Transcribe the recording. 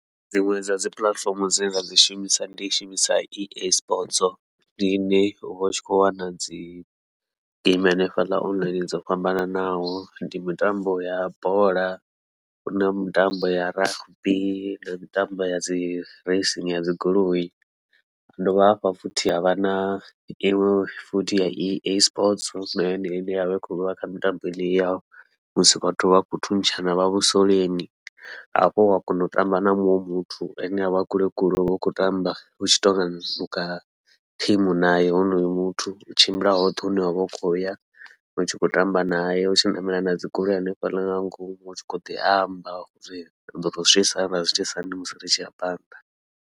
Dziṅwe dza dzi puḽatifomo dzine nda dzi shumisa ndi shumisa E_A Sports, ndi ine uvha u tshi khou wana dzi geimi hanefhaḽa online dzo fhambananaho, ndi mitambo ya bola huna mitambo ya rugby ndi mitambo ya dzi racing ya dzi goloi, ha dovha hafhu futhi havha na iṅwe futhi ya E_A Sports na yone ine yavha i khou vha kha mitambo ya musi vhathu vha khou thuntshana vha vhusoleni. Hafho wa kona u tamba na muṅwe muthu ane avha a kule kule wavha u khou tamba u tshi tonga u kha team naye honoyo muthu, u tshimbila hoṱhe hune wavha u khou ya utshi khou tamba naye utshi ṋamela nadzi goloi hanefhaḽa nga ngomu, u tshi khou ḓi amba riḓo tou zwi itisa hani ḓo tou zwi itisa hani musi ri tshi ya phanḓa.